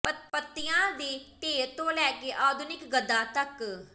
ਪੱਤਿਆਂ ਦੇ ਢੇਰ ਤੋਂ ਲੈ ਕੇ ਆਧੁਨਿਕ ਗੱਦਾ ਤੱਕ